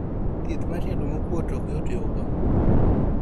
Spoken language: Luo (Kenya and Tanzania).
Thieth mar tielo mokuot okyot yudo.